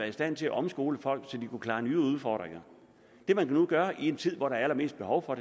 i stand til at omskole folk så de kunne klare nye udfordringer det man nu gør i en tid hvor der er allermest behov for